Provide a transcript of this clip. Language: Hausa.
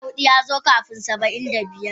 Saba'in da hudu ya zo kafin Saba'in da biyar.